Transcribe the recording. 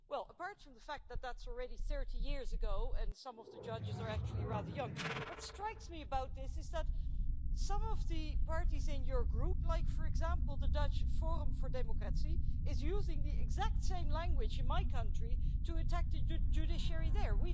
Well, apart from the fact that that's already 30 years ago and some of the judges are actually rather young, what strikes me about this is that some of the parties in your group, like, for example, the Dutch Forum for Democracy, is using the exact same language in my country to attack to the judiciary there.